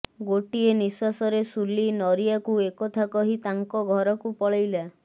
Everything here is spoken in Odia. ଗୋଟିଏ ନିଶ୍ୱାସରେ ସୁଲି ନରିଆକୁ ଏକଥା କହି ତାଙ୍କ ଘରକୁ ପଳେଇଲା